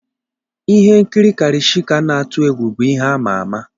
Ihe nkiri Karishika n'atu egwu bụ ihe ama ama.